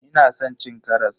Ina san cin karas.